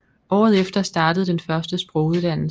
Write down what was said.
Året efter startede den første sproguddannelse